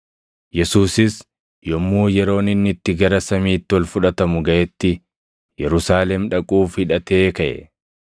Yesuusis yommuu yeroon inni itti gara samiitti ol fudhatamu gaʼetti Yerusaalem dhaquuf hidhatee kaʼe.